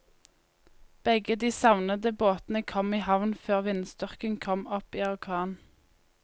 Begge de savnede båtene kom i havn før vindstyrken kom opp i orkan.